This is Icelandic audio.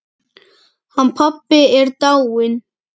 Hann pabbi er dáinn.